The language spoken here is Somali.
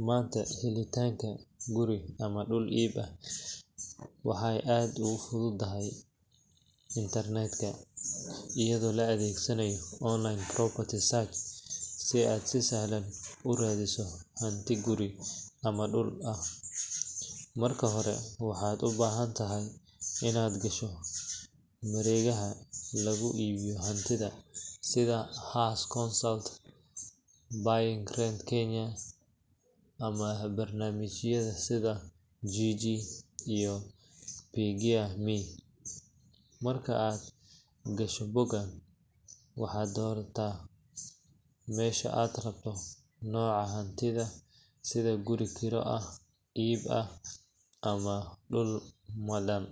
Manta helitanga guuri amah dul ib aah, waxay aad ugu futhudahay internet ka eyado la adegsanayo online property services si aa si sahlan urathiyih amah guuri amah duul aah , marka hori wax u bahantahay inakashoh maregaha lagu ibiyoh hanti setha her council buying rent Kenya amah barnamijyada sitha jiji amah oo keegyiyah Maya ,marka AA gashoh bogan wabdoirtah meshan AA rabtoh noca hantithabsitha sitha guri KERA eeh ib aah, amah fuul madam